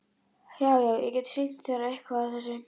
Já, já- ég get sýnt þér eitthvað af þessu.